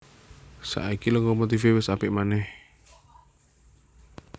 Saiki lokomotifé wis apik manèh